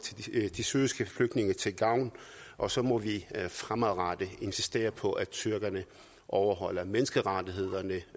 de syriske flygtninge til gavn og så må vi fremadrettet insistere på at tyrkerne overholder menneskerettighederne